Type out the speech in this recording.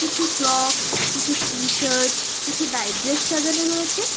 কিছু ফ্রকস কিছু টি-শার্ট কিছু নাইট ড্রেস সাজানো রয়েছে।